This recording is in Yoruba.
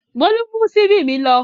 Bólú mú ṣíbí mi lọ.